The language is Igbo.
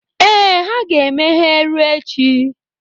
Ee, ha ga-emeghe ruo echi.